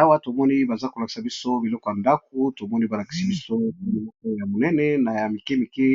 awa tomoni baza kolakisa biso biloko ya ndaku tomoni balakisi biso biloko ya monene na ya mike mike